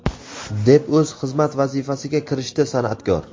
deb o‘z xizmat vazifasiga kirishdi sanʼatkor.